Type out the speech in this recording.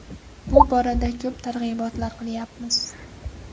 Bu borada ko‘p targ‘ibotlar qilyapmiz.